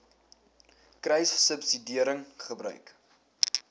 kruissubsidiëringgebruik